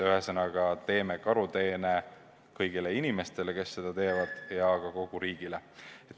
Ühesõnaga, me teeme karuteene kõigile inimestele, kes seda teevad, ja ka kogu riigile.